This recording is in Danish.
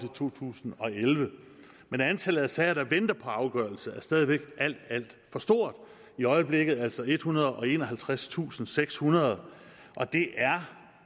to tusind og elleve men antallet af sager der venter på afgørelse er stadig væk alt alt for stort i øjeblikket er det altså ethundrede og enoghalvtredstusindsekshundrede og det er